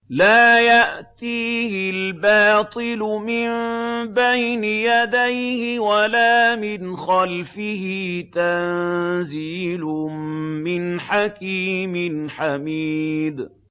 لَّا يَأْتِيهِ الْبَاطِلُ مِن بَيْنِ يَدَيْهِ وَلَا مِنْ خَلْفِهِ ۖ تَنزِيلٌ مِّنْ حَكِيمٍ حَمِيدٍ